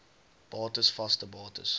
bates vaste bates